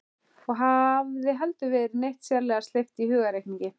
Og hafði heldur aldrei verið neitt sérlega sleip í hugarreikningi.